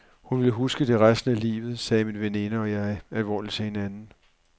Hun vil huske det resten af livet, sagde min veninde og jeg alvorligt til hinanden.